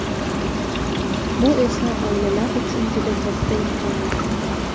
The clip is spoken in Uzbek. Bu esa oilalar uchun juda katta imkoniyat.